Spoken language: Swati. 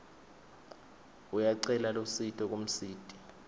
uyacela lusito kumsiti